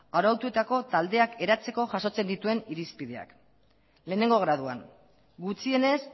arautuetako taldeak eratzeko jasotzen dituen irizpideak lehenengo graduan gutxienez